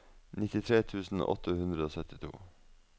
nittitre tusen åtte hundre og syttito